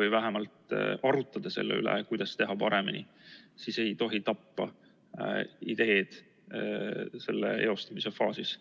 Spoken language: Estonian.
või vähemalt arutada selle üle, kuidas teha paremini, siis tapame ideed nende eostamise faasis.